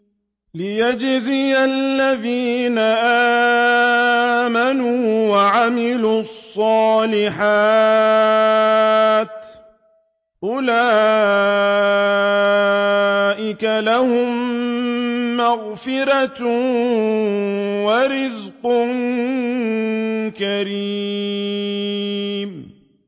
لِّيَجْزِيَ الَّذِينَ آمَنُوا وَعَمِلُوا الصَّالِحَاتِ ۚ أُولَٰئِكَ لَهُم مَّغْفِرَةٌ وَرِزْقٌ كَرِيمٌ